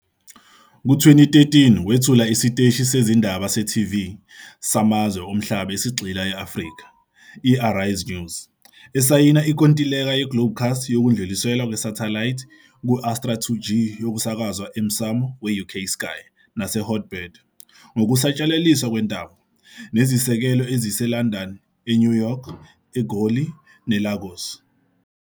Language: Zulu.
Ku-2013 wethule isiteshi sezindaba se-TV samazwe omhlaba esigxile e-Afrika, i-Arise News, esayina inkontileka neGlobecast yokudluliselwa kwesathelayithi ku-Astra 2G yokusakazwa emsamo we-UK Sky, naseHot Bird ngokusatshalaliswa kwentambo, nezisekelo eziseLondon, eNew IYork City, iGoli, neLagos.